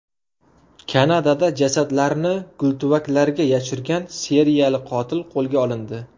Kanadada jasadlarni gultuvaklarga yashirgan seriyali qotil qo‘lga olindi.